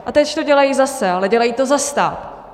A teď to dělají zase, ale dělají to za stát.